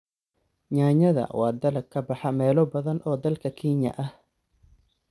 Yaanyada waa dalag ka baxa meelo badan oo dalka Kenya ah.